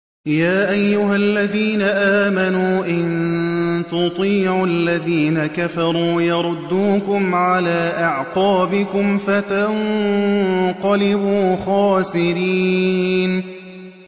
يَا أَيُّهَا الَّذِينَ آمَنُوا إِن تُطِيعُوا الَّذِينَ كَفَرُوا يَرُدُّوكُمْ عَلَىٰ أَعْقَابِكُمْ فَتَنقَلِبُوا خَاسِرِينَ